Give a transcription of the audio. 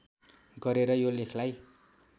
गरेर यो लेखलाई